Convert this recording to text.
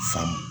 Faamu